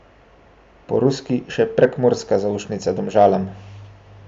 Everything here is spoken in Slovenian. Po ruski še prekmurska zaušnica Domžalam!